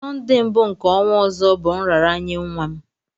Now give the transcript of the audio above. Sonde mbụ nke ọnwa ọzọ bụ nraranye nwa m